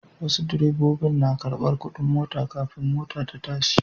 Wasu direbobin nakarɓar kuɗin mota kafin mota ta tashi.